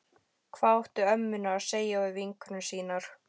Hvað áttu ömmurnar að segja við vinkonur sínar?